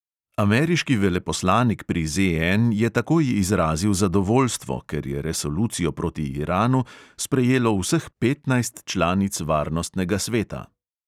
Ameriški veleposlanik pri ZN je takoj izrazil zadovoljstvo, ker je resolucijo proti iranu sprejelo vseh petnajst članic varnostnega sveta.